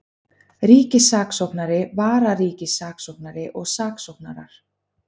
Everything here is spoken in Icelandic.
Ríkissaksóknari, vararíkissaksóknari og saksóknarar.